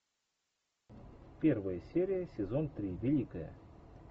первая серия сезон три великая